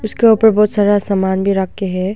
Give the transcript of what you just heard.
इसके ऊपर बहुत सारा सामान भी रखे हैं।